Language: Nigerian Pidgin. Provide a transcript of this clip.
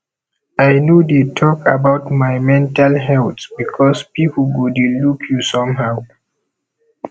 i no no dey talk about my mental health because pipu go dey look you somehow